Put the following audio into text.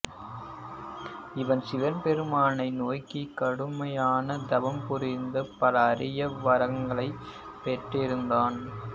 இவன் சிவபெருமானை நோக்கிக் கடுமையான தவம் புரிந்து பல அரிய வரங்களைப் பெற்றிருந்தான்